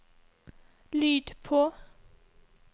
lyd på